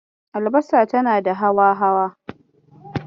Albasa tana da hawa-hawa.